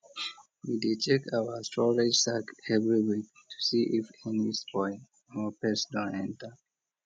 we dey check our storage sack every week to see if any spoil or pest don enter